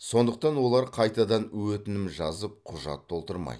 сондықтан олар қайтадан өтінім жазып құжат толтырмайды